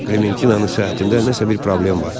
Klementinanın səhhətində nəsə bir problem var.